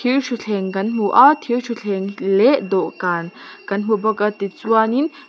thir thuthleng kan hmu a thir thuthleng leh dawhkan kan hmu bawk a ti chuan in--